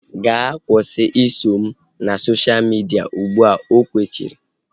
Gaa kwụsị iso m na sosha midia ụgbụa! O kwechiri